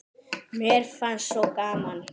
Mér fannst svo gaman.